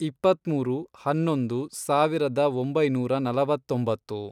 ಇಪ್ಪತ್ಮೂರು, ಹನ್ನೊಂದು, ಸಾವಿರದ ಒಂಬೈನೂರ ನಲವತ್ತೊಂಬತ್ತು